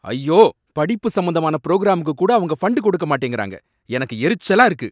ஐயோ! படிப்பு சம்பந்தமான புரோகிராமுக்கு கூட அவங்க ஃபண்டு கொடுக்க மாட்டேங்கறாங்க, எனக்கு எரிச்சலா இருக்கு.